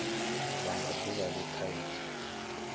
bva nga duvha le khaidzo